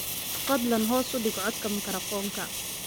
fadlan hoos u dhig codka makarafoonka